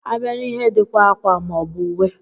A bịa n'ihe dika ákwà maọbu ùwé.